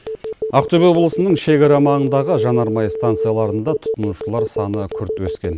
ақтөбе облысының шекара маңындағы жанармай станцияларында тұтынушылар саны күрт өскен